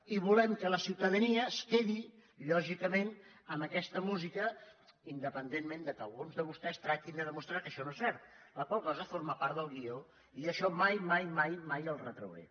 i volem que la ciutadania es quedi lògicament amb aquesta música independentment que alguns de vostès tractin de demostrar que això no és cert la qual cosa forma part del guió i jo això mai mai mai els ho retrauré